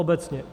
Obecně.